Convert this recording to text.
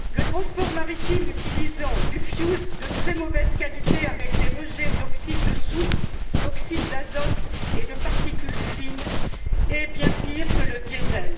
Le transport maritime utilisant du fioul de très mauvaise qualité avec des rejets d'oxyde de soufre, d'oxyde d'azote et de particules fines est bien pire que le diesel.